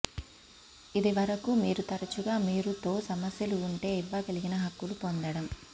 ఇది వరకు మీరు తరచుగా మీరు తో సమస్యలు ఉంటే ఇవ్వగలిగిన హక్కులు పొందడం